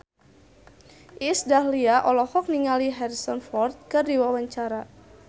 Iis Dahlia olohok ningali Harrison Ford keur diwawancara